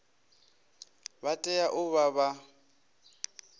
vha tea u vha vha